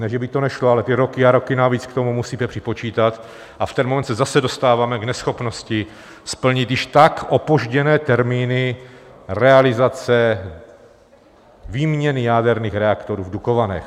Ne že by to nešlo, ale ty roky a roky navíc k tomu musíte připočítat, a v ten moment se zase dostáváme k neschopnosti splnit již tak opožděné termíny realizace výměny jaderných reaktorů v Dukovanech.